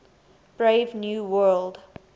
brave new world